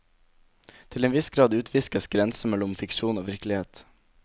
Til en viss grad utviskes grensen mellom fiksjon og virkelighet.